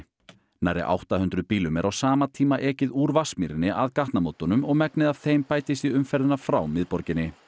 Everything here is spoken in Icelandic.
nærri átta hundruð bílum er á sama tíma ekið úr Vatnsmýrinni að gatnamótunum og megnið af þeim bætist í umferðina frá miðborginni